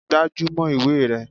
Gbájúmọ́ ìwé rẹ!